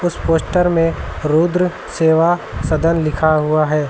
उस पोस्टर में रुद्र सेवा सदन लिखा हुआ है।